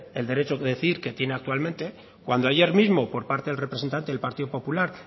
el derecho a decidir que tiene actualmente cuando ayer mismo por parte del representante del partido popular